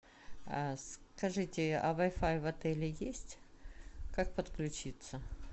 скажите а вай фай в отеле есть как подключиться